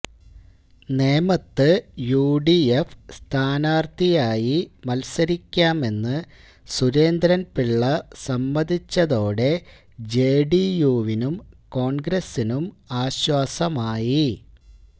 നേമത്ത് യുഡിഎഫ് സ്ഥാനാര്ത്ഥിയായി മത്സരിക്കാമെന്ന് സുരേന്ദ്രന്പിള്ള സമ്മതിച്ചതോടെ ജെഡിയുവിനും കോണ്ഗ്രസ്സിനും ആശ്വാസമായി